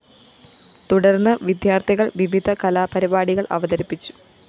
തുടര്‍ന്ന് വിദ്യാര്‍ഥികള്‍ വിവിധ കലാപരിപാടികള്‍ അവതരിപ്പിച്ചു